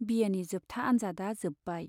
बि ए नि जोबथा आन्जादआ जोब्बाय।